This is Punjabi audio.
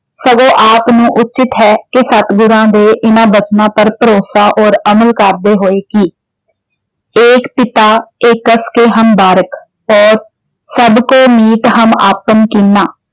ਸਗੋ ਆਪ ਨੂੰ ਉੱਚਿਤ ਹੈ ਕਿ ਸਤਿਗੁਰਾਂ ਦੇ ਇਹਨਾਂ ਬਚਨਾਂ ਪਰ ਭਰੋਸਾ ਅਤੇ ਅਮਲ ਕਰਦੇ ਹੋਏ ਕਿ ਏਕ ਪਿਤਾ ਏਕਸ ਕੇ ਹਮ ਬਾਰਿਕ ਸਭੁ ਕੋ ਮੀਤੁ ਹਮ ਆਪਨ ਕੀਨਾ